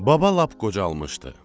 Baba lap qocalmışdı.